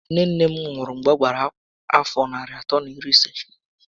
Nne nne m nwụ̀rụ̀ mgbè ọ gbàrà àfọ́ narị àtọ́ na iri isé